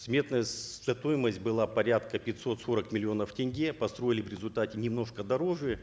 сметная стоимость была порядка пятьсот сорок миллионов тенге построили в результате немножко дороже